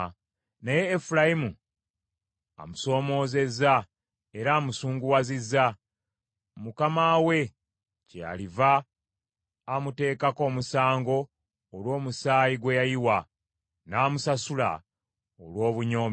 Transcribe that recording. Naye Efulayimu amusoomoozezza era amusunguwazizza, Mukama we kyaliva amutekako omusango olw’omusaayi gwe yayiwa, n’amusasula olw’obunyoomi bwe.